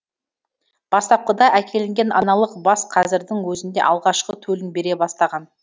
бастапқыда әкелінген аналық бас қазірдің өзінде алғашқы төлін бере бастаған